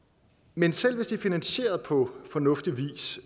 men selv hvis det er finansieret på fornuftig vis